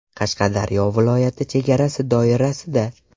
Qashqadaryo viloyati chegarasi doirasida.